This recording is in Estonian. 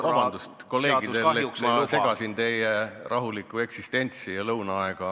Vabandust, kolleegid, et ma segasin teie rahulikku eksistentsi ja lõunaaega!